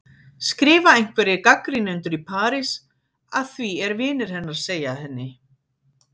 skrifa einhverjir gagnrýnendur í París, að því er vinir hennar segja henni.